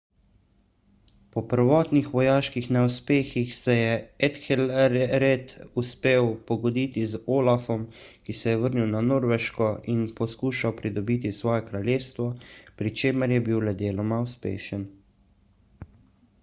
po prvotnih vojaških neuspehih se je ethelred uspel pogoditi z olafom ki se je vrnil na norveško in poskušal pridobiti svoje kraljestvo pri čemer je bil le deloma uspešen